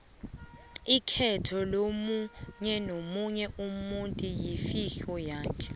ikhetho lomunyenomunye umutu yifihlo yakhe